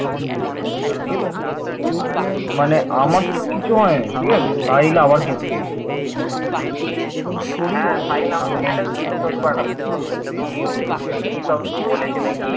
কিও কি সব বলেছে নাকি